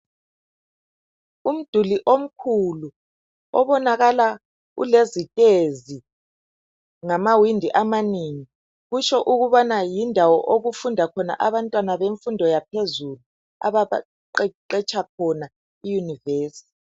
Umduli omkhulu obonakala ulezitezi lamawindi amanengi. Kutsho ukubana yindawo okufunda khona abantwana bemfundo yaphezulu, ababaqeqetsha khona, iyunivesithi.